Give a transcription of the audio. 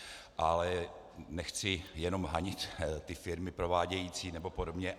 Ale nechci jenom hanět ty firmy provádějící nebo podobně.